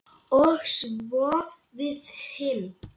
Og svo við hin.